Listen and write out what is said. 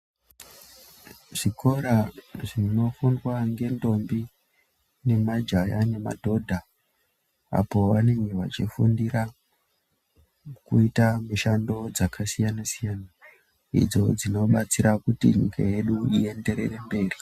Zvikora zvinofundwa nentombi nemajaha nemadoda apo vanenge vachifundira kuita mishando dzakasiyana siyana idzo dzinobetsera kuti nyika yedu iyenderere mberi.